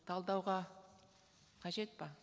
талдауға қажет пе